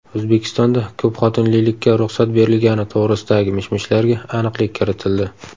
O‘zbekistonda ko‘pxotinlilikka ruxsat berilgani to‘g‘risidagi mish-mishlarga aniqlik kiritildi.